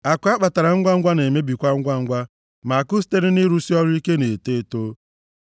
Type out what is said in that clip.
Akụ a kpatara ngwangwa na-emebikwa ngwangwa; ma akụ sitere nʼịrụsị ọrụ ike na-eto eto.